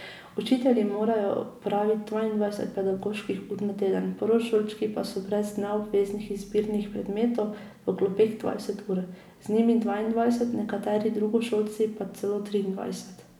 Učitelji morajo opraviti dvaindvajset pedagoških ur na teden, prvošolčki pa so brez neobveznih izbirnih predmetov v klopeh dvajset ur, z njimi dvaindvajset, nekateri drugošolci pa celo triindvajset.